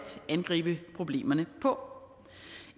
angribe problemerne på